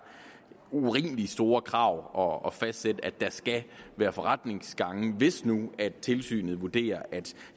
urimelig store krav at fastsætte at der skal være forretningsgange hvis nu tilsynet vurderer at